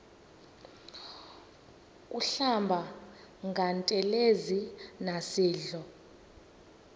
kuhlamba ngantelezi nasidlo